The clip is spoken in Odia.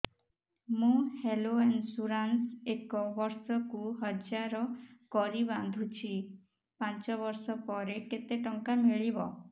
ମୁ ହେଲ୍ଥ ଇନ୍ସୁରାନ୍ସ ଏକ ବର୍ଷକୁ ହଜାର କରି ବାନ୍ଧୁଛି ପାଞ୍ଚ ବର୍ଷ ପରେ କେତେ ଟଙ୍କା ମିଳିବ